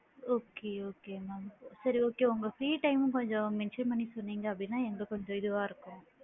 Okay okay ma'am சரி okay உங்க free time கொஞ்சம் mention பண்ணி சொன்னிங்க அப்படின்னா எங்களுக்கு கொஞ்சம் இதுவா இருக்கும்.